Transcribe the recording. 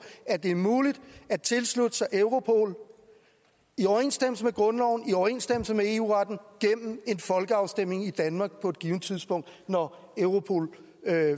at det er muligt at tilslutte sig europol i overensstemmelse med grundloven og i overensstemmelse med eu retten gennem en folkeafstemning i danmark på et givet tidspunkt når europol